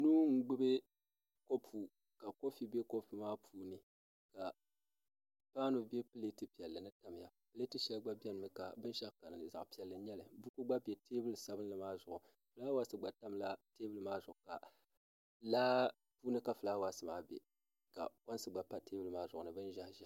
Nuu n gbubi kopu ka kofi bɛ kopu maa puuni ka paanu bɛ pileet piɛlli ni tamya pileet shɛli gba biɛni mi ka binshaɣu ka dinni zaɣ piɛlli n nyɛli buku gna pa teebuli sabinli maa zuɣu fulaawaasi gba tamla teebuli maa zuɣu laa puuni ka fulaawaasi maa bɛ ka koins gba pa teebuli ma zuɣu ni bin ʒiɛhi ʒiɛhi